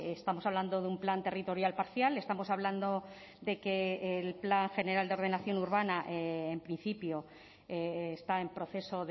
estamos hablando de un plan territorial parcial estamos hablando de que el plan general de ordenación urbana en principio está en proceso